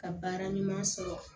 Ka baara ɲuman sɔrɔ